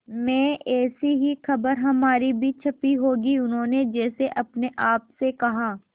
में ऐसी ही खबर हमारी भी छपी होगी उन्होंने जैसे अपने आप से कहा